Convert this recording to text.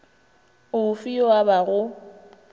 o fe yo a obago